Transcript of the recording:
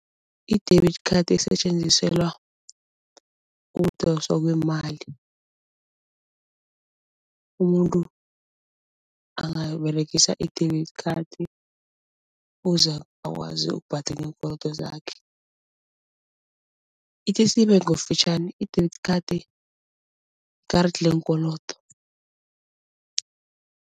I-debit card isetjenziselwa ukudoswa kweemali. Umuntu angaberegisa i-debit card ukuze akwazi ukubhadela iinkolodo zakhe. Ithi siyibeke ngobufitjhani i-debit card yi-card leenkolodo.